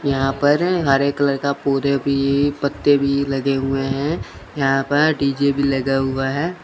यहां पर हरे कलर का पूरे भी पत्ते भी लगे हुए हैं यहां पर डी_जे भी लगा हुआ है।